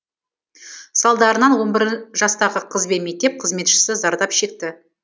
салдарынан он бір жастағы қыз бен мектеп қызметшісі зардап шекті